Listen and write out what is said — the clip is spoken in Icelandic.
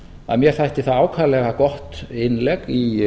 að mér þætti það ákaflega gott innlegg í